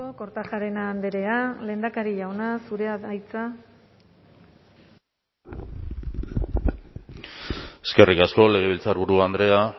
kortajarena andrea lehendakari jauna zurea da hitza eskerrik asko legebiltzarburu andrea